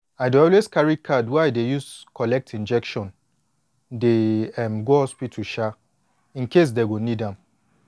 i dey always carry card wey i dey use collect injection dey um go hospital um incase dey go need am